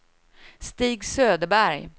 Stig Söderberg